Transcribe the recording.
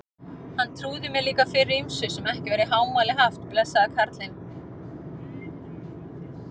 Hann trúði mér líka fyrir ýmsu sem ekki var í hámæli haft, blessaður kallinn.